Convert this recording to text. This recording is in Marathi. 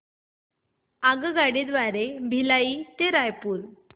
आगगाडी द्वारे भिलाई ते रायपुर